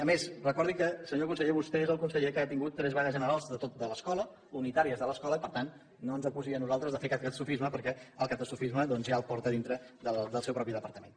a més recordi que senyor conseller vostè és el conseller que ha tingut tres vagues generals de l’escola unitàries de l’escola i per tant no ens acusi a nosaltres de fer catastrofisme perquè el catastrofisme doncs ja el porta a dintre dels seus mateix departament